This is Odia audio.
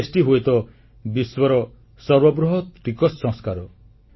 ଜିଏସଟି ହୁଏତ ବିଶ୍ୱର ସର୍ବବୃହତ ଟିକସ ସଂସ୍କାର